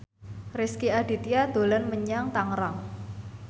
Rezky Aditya dolan menyang Tangerang